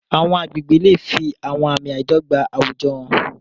Àwọn agbègbè lè fi àwọn àmì àìdọ́gba àwùjọ hàn.